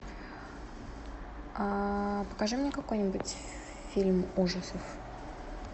покажи мне какой нибудь фильм ужасов